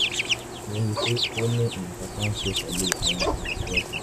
mo rí i pé ó ó ní nǹkan kan ṣe pẹ̀lú àwọn àlàfo ẹsẹ̀